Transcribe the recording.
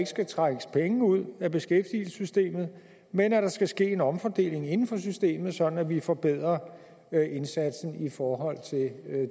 skal trækkes penge ud af beskæftigelsessystemet men at der skal ske en omfordeling inden for systemet sådan at vi forbedrer indsatsen i forhold til